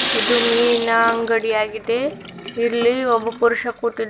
ಇದು ಮೀನಿನ ಅಂಗಡಿ ಯಾಗಿದೆ ಇಲ್ಲಿ ಒಬ್ಬ ಪುರುಷ ಕೂತಿದಾ--